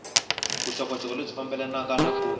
vuxokoxoko lebyi fambelanaka na ku